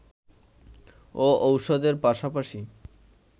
ও ওষুধের পাশাপাশি